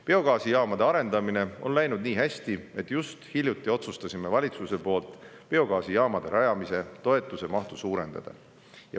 Biogaasijaamade arendamine on läinud nii hästi, et hiljuti otsustasime valitsuses biogaasijaamade rajamise toetuse mahtu suurendada.